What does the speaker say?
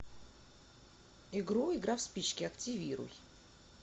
игру игра в спички активируй